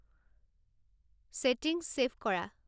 settings save কৰা